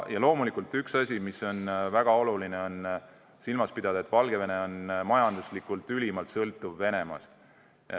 Ja loomulikult on üks asi, mida on väga oluline silmas pidada, see, et Valgevene on majanduslikult ülimalt sõltuv Venemaast.